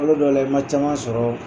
Kalo dɔw la i ma caman sɔrɔ